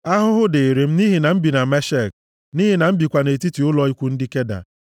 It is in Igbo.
Ahụhụ dịịrị m nʼihi na m bi na Meshek, nʼihi na m bikwa nʼetiti ụlọ ikwu ndị Keda!